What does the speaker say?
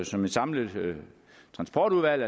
som et samlet transportudvalg